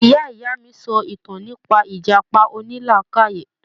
Ìyá ìyá mi sọ ìtàn nípa ìjàpá onílàákàyè.